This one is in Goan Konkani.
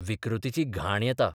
विकृतीची घाण येता.